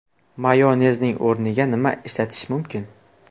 Mayonezning o‘rniga nima ishlatish mumkin?